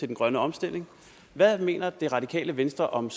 den grønne omstilling hvad mener det radikale venstre om